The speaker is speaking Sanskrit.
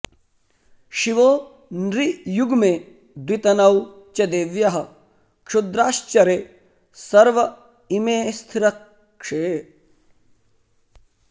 शिवो नृयुग्मे द्वितनौ च देव्यः क्षुद्राश्चरे सर्व इमे स्थिरर्क्षे